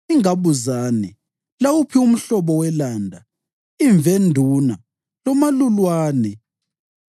ingabuzane, lawuphi umhlobo welanda, imvenduna lomalulwane.